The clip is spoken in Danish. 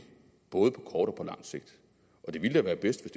både og på lang sigt og det ville da være bedst